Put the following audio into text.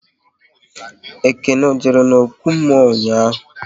Ekene ọ jere n'okwu mmụọ ụnyaahụ?